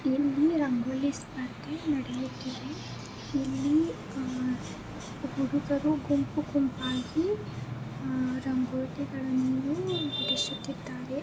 ಇಲ್ಲಿ ರಂಗೋಲಿ ಸ್ಪರ್ಧೆ ನಡೆಯುತ್ತಿದೆ. ಇಲ್ಲಿಅಹ್ ಹುಡುಗರು ಗುಂಪು ಗುಂಪಾಗಿ ಅಹ್ ರಂಗೋಲಿಗಳನ್ನು ಬಿಡಿಸುತ್ತಿದ್ದಾರೆ.